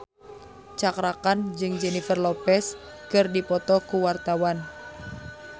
Cakra Khan jeung Jennifer Lopez keur dipoto ku wartawan